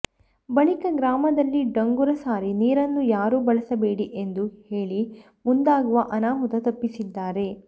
ಬಳಿಕ ಗ್ರಾಮದಲ್ಲಿ ಡಂಗುರ ಸಾರಿ ನೀರನ್ನು ಯಾರೂ ಬಳಸಬೇಡಿ ಎಂದು ಹೇಳಿ ಮುಂದಾಗುವ ಅನಾಹುತ ತಪ್ಪಿಸಿದ್ದಾರೆ